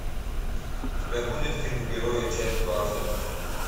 у тебя будет фильм герои часть двадцать